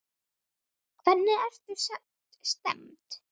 Hvernig ertu stemmd?